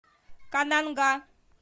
кананга